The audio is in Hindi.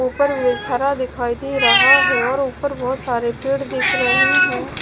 ऊपर दिखाई दे रहा है और ऊपर बहोत सारे पेड़ दिख रहे हैं।